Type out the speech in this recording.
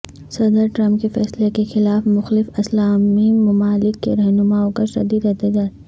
صدر ٹرمپ کے فیصلے کے خلاف مخلف اسلامی ممالک کے رہنماوں کا شدید احتجاج